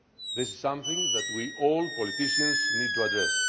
This is something that we all politicians need to address.